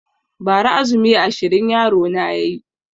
Ba ra azumi ashirin yaro na yayi